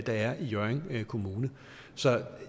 der er i hjørring kommune så